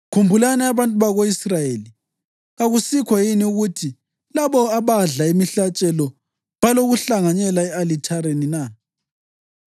Khumbulani abantu bako-Israyeli: Kakusikho yini ukuthi labo abadla imihlatshelo balokuhlanganyela e-alithareni na?